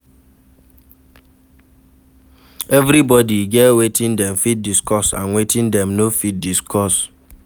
Everybody get wetin dem fit discuss and wetin dem no fit discuss